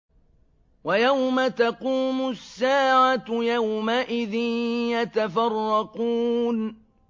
وَيَوْمَ تَقُومُ السَّاعَةُ يَوْمَئِذٍ يَتَفَرَّقُونَ